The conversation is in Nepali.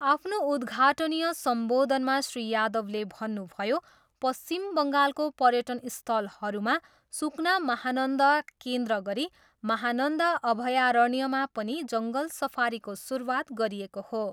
आफ्नो उद्घाटनीय सम्बोधनमा श्री यादवले भन्नुभयो, पश्चिम बङ्गालको पर्यटन स्थलहरूमा सुकना महानन्दा केन्द्र गरी माहानन्दा अभयारण्यमा पनि जङ्गल सफारीको सुरुवात गरिएको हो।